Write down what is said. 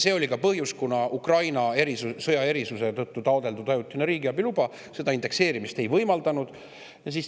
See oli ka põhjus, et Ukraina sõja erisuse tõttu taotletud ajutine riigiabiluba seda indekseerimist ei võimaldanud.